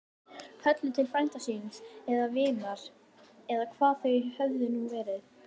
Höllu til frænda síns. eða vinar. eða hvað þau höfðu nú verið.